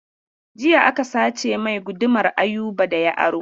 Jiya aka sace mai gudumar Ayuba da ya aro.